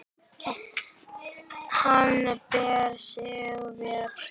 Hann ber sig vel.